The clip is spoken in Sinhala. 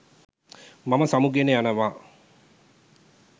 මම සමුගෙන යනවා